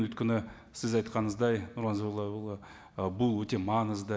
өйткені сіз айтқаныңыздай нұрлан зайроллаұлы і бұл өте маңызды